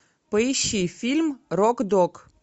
поищи фильм рок дог